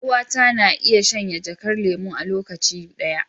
Yar uwata na iya shanye jakar lemu a lokaci ɗaya.